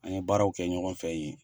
An ye baaraw kɛ ɲɔgɔn fɛ yen.